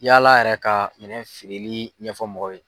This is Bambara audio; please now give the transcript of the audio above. Yala yɛrɛ ka minɛ feereli ɲɛfɔ mɔgɔw ye.